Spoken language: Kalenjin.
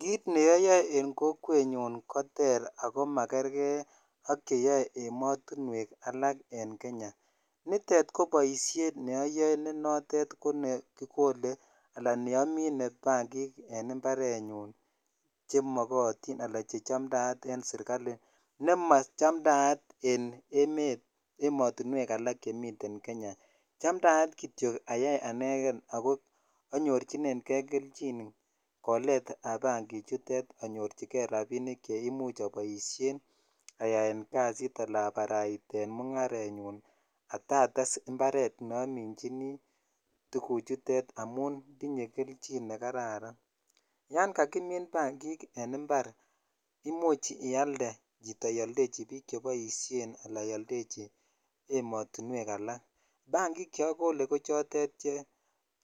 Kit neoyoe en kokwet koter ako makerkei ak cheyoe ematuwek alak en kenyaniton ko boishet ne notet kobnekikole ala kimine bangiken imparet nyun chemokotin ala che chamtaat en sirikaline nachamtaat en emet ematuwek alak en Kenya chamtaat kityok ayai aneken sko anyorchinen kei kelchinkolet ab bangichutetanyorchikei rabinik ayaen kasit ala abataiten kasit nebo mongarenyun kotates imparet ne aminjin tukuchutet amun tinyee ne kararan ysn kakimin bangik en impar keoldochi ioldechi bik cheboishenala ioldechi ematuwek alak bangik ko chotet